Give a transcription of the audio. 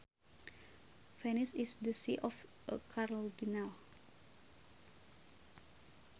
Venice is the see of a cardinal